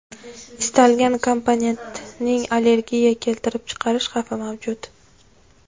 Istalgan komponentning allergiya keltirib chiqarish xavfi mavjud.